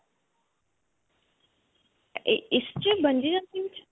ਏਏ ਇਸ 'ਚ bungee jumping 'ਚ?